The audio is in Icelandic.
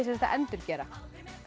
að endurgera